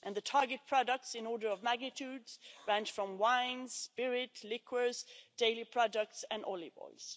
The target products, in order of magnitude, range from wines, spirit, liqueurs, dairy products and olive oils.